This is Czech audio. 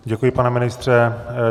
Děkuji, pane ministře.